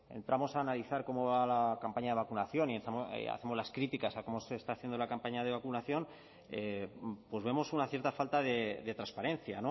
entramos a analizar cómo va la campaña de vacunación y hacemos las críticas a cómo se está haciendo la campaña de vacunación pues vemos una cierta falta de transparencia